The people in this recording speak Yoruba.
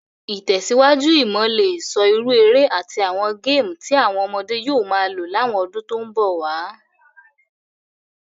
Ìtẹ̀síwájú imo le so irú eré àtí àwon game ti àwon ọmọdé yio ma lo láwon odún to n bòwá